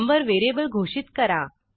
number variable घोषित करा